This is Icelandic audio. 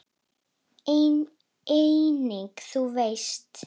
Einnig þú veist.